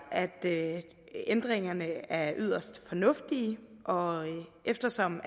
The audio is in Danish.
at ændringerne er yderst fornuftige og eftersom